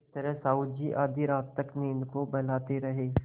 इस तरह साहु जी आधी रात तक नींद को बहलाते रहे